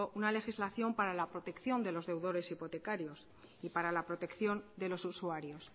una legislación para la protección de los deudores hipotecarios y para la protección de los usuarios